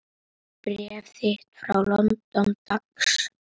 Bréf þitt frá London, dags.